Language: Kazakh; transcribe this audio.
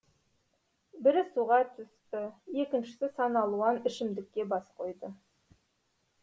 бірі суға түсті екіншісі саналуан ішімдікке бас қойды